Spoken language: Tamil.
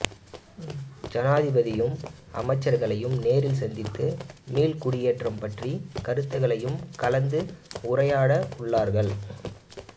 ஐனாதிபதியையும் அமைச்சர்களையும் நேரில் சந்தித்து மீள் குடியேற்றம் பற்றிய கருத்துக்களையும் கலத்து உரையாட உள்ளார்கள்